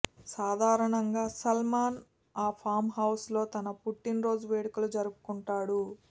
సాధారణంగా సల్మాన్ ఆ ఫామ్హౌజ్లో తన పుట్టిన రోజులు వేడుకలు జరుపుకుంటాడు